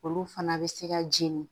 Olu fana bɛ se ka jeni